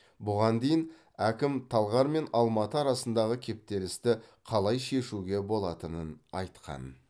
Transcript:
бұған дейін әкім талғар мен алматы арасындағы кептелісті қалай шешуге болатынын айтқан